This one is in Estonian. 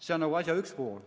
See on asja üks pool.